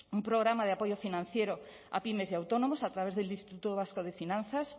un programa de apoyo financiero a pymes y autónomos a través del instituto vasco de finanzas